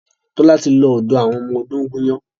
Tola ti lọ Odó àti ọmọ odó gún iyán.